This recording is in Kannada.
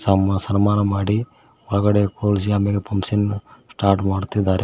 ಒಮ್ಮ ಸನ್ಮಾನ ಮಾಡಿ ಒಳಗಡೆ ಕೂರಿಸಿ ಆಮೇಲೆ ಫಂಕ್ಷನ್ ಸ್ಟಾರ್ಟ್ ಮಾಡ್ತಿದ್ದಾರೆ.